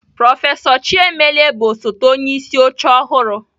Prọfesọ Chiemelie bụ osote onyeisi oche ọhụrụ.